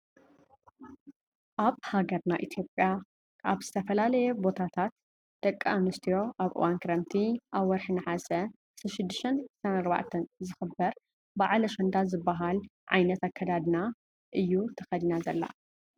ኣብ ሃገርና ኢትዮጵያ ኣብ ዝተፈላለየ ቦታት ደቂ ኣንስትዮ ኣብ እዋን ክረምቲ ኣብ ወርሒ ነሓሰ 16ን 24 ዝክበር ብዓል ኣሸንዳ ዝብሃል ዓይነት ኣከዳድና እዩ ተከዲና ዘላ።